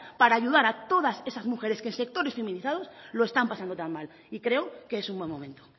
para ayudar a todas esas mujeres que en sectores feminizados lo están pasando tan mal y creo que es un buen momento